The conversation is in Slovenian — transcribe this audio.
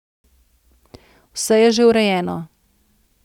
Vse je že urejeno.